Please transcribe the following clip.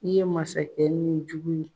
I ye masakɛ ni jugu